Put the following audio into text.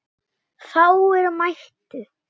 Fáir mættu.